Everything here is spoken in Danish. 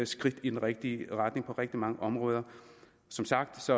skridt i den rigtige retning på rigtig mange områder som sagt